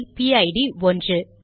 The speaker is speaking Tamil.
இதன் பிஐடிPID 1